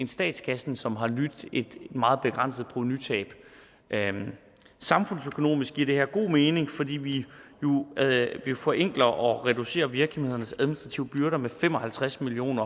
statskassen som har lidt et meget begrænset provenutab samfundsøkonomisk giver det her god mening fordi vi nu forenkler og reducerer virksomhedernes administrative byrder med fem og halvtreds million